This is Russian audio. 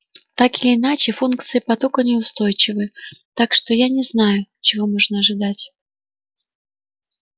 так или иначе функции потока неустойчивы так что я не знаю чего можно ожидать